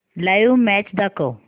live match दाखव